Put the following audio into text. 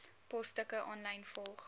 posstukke aanlyn volg